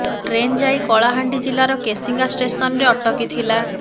train ଯାଇ କଳାହାଣ୍ଡି ଜିଲ୍ଲାର କେସିଙ୍ଗା ଷ୍ଟେସନରେ ଅଟକି ଥିଲା